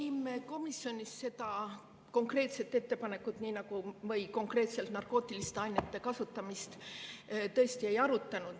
Ei, me komisjonis seda konkreetset ettepanekut või konkreetselt narkootiliste ainete kasutamist ei arutanud.